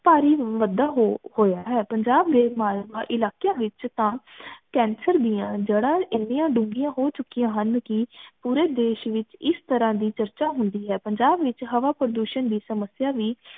ਭਾਰੀ ਹੋਇਆ ਹੈ ਪੰਜਾਬ ਦੇ ਅਹ ਇਲਾਕਿਆਂ ਵਿਚ ਤਾਂ ਕੈਂਸਰ ਦੀਆਂ ਜੜਾਂ ਇੰਨੀਆਂ ਡੁੰਗੀਆਂ ਹੋ ਚੁਕੀਆਂ ਹਨ ਕਿ ਪੂਰੇ ਦੇਸ਼ ਵਿਚ ਇਸ ਤਰਹ ਦੀ ਚਰਚਾ ਹੁੰਦੀ ਹੈ ਪੰਜਾਬ ਵਿਚ ਹਵਾ ਪ੍ਰਦੂਸ਼ਨ ਦੀ ਸਮਸਿਆ ਵੀ